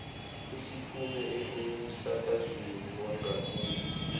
isiphume emsakazweni wangakubo